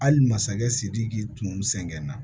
Hali masakɛ sidiki tun sɛgɛn na